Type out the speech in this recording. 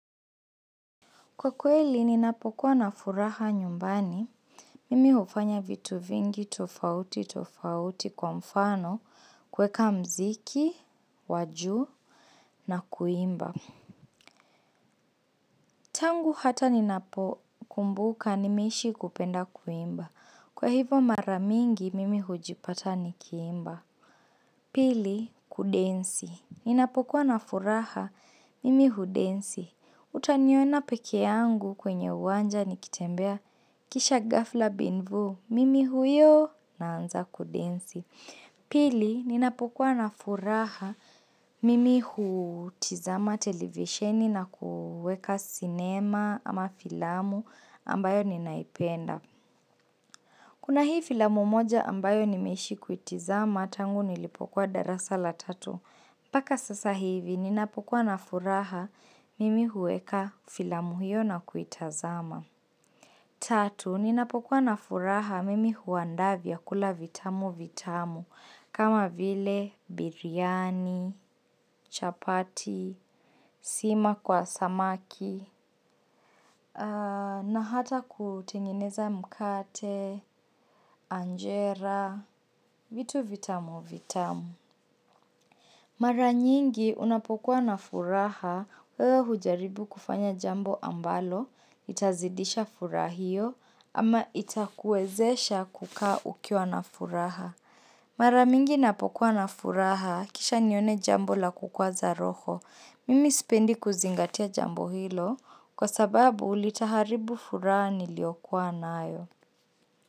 Kwa kweli ninapokuwa na furaha nyumbani, mimi hufanya vitu vingi tofauti tofauti kwa mfano kuweka mziki, wa juu na kuimba. Tangu hata ninapokumbuka, nimeishi kupenda kuimba. Kwa hivo mara mingi mimi hujipata nikiimba. Pili, kudensi. Ninapokuwa na furaha, mimi hudensi. Utaniona pekee yangu kwenye uwanja nikitembea kisha ghafla bin vuu, mimi huyo naanza kudensi. Pili, ninapokuwa na furaha mimi hutizama televisheni na kuweka sinema ama filamu ambayo ninaipenda. Kuna hii filamu moja ambayo nimeishi kuitizama tangu nilipokuwa darasa la tatu. Mpaka sasa hivi, ninapokuwa na furaha mimi huweka filamu hiyo na kuitazama. Tatu, ninapokuwa na furaha mimi huandaa vyakula vitamu vitamu, kama vile biryani, chapati, sima kwa samaki, na hata kutengeneza mkate, anjera, vitu vitamu vitamu. Mara nyingi unapokuwa na furaha wewe hujaribu kufanya jambo ambalo itazidisha furaha hio ama itakuwezesha kukaa ukiwa na furaha mara mingi napokuwa na furaha kisha nione jambo la kukwaza roho mimi sipendi kuzingatia jambo hilo kwa sababu litaharibu furaha niliokuwa nayo.